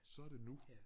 Så det nu